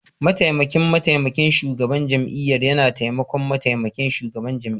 Mataimakin Mataimakin Shugaban Jami'ar yana taimakon Mataimakin Shugaban Jami'ar.